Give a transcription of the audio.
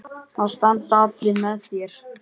Það standa allir með þér.